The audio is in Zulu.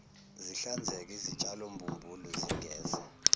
zihlanzeke izitshalombumbulu zingeze